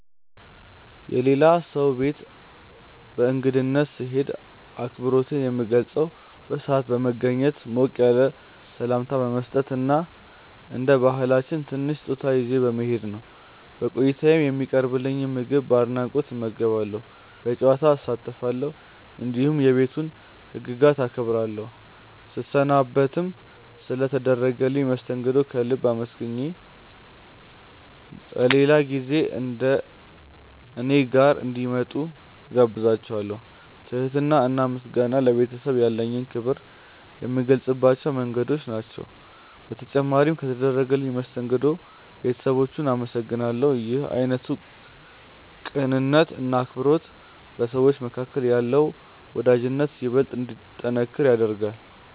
የሌላ ሰው ቤት በእንግድነት ስሄድ አክብሮቴን የምገልጸው በሰዓት በመገኘት፣ ሞቅ ያለ ሰላምታ በመስጠት እና እንደ ባህላችን ትንሽ ስጦታ ይዤ በመሄድ ነው። በቆይታዬም የሚቀርብልኝን ምግብ በአድናቆት እመገባለሁ፣ በጨዋታ እሳተፋለሁ፣ እንዲሁም የቤቱን ህግጋት አከብራለሁ። ስሰናበትም ስለ ተደረገልኝ መስተንግዶ ከልብ አመስግኜ በሌላ ጊዜ እኔ ጋር እንዲመጡ እጋብዛቸዋለው። ትህትና እና ምስጋና ለቤተሰቡ ያለኝን ክብር የምገልጽባቸው መንገዶች ናቸው። በተጨማሪም በተደረገልኝ መስተንግዶ ባለቤቶቹን አመሰግናለሁ። ይህ አይነቱ ቅንነት እና አክብሮት በሰዎች መካከል ያለውን ወዳጅነት ይበልጥ እንዲጠነክር ያደርጋል።